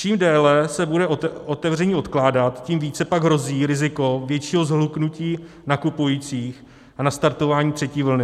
Čím déle se bude otevření odkládat, tím více pak hrozí riziko většího shluknutí nakupujících a nastartování třetí vlny.